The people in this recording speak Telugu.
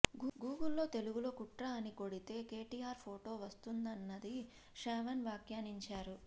గూగుల్లో తెలుగులో కుట్ర అని కొడితే కేటీఆర్ ఫొటో వస్తున్నదని శ్రావణ్ వ్యాఖ్యానించారు